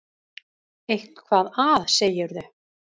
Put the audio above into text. Eitthvað að, segirðu.